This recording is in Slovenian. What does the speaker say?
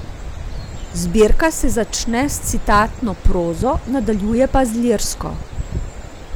Zbirka se začne s citatno prozo, nadaljuje pa lirsko.